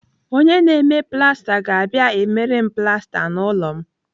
Onye na-eme plasta ga-abịa emere m plasta n'ụlọ m